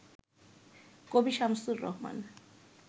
কবি শামসুর রাহমান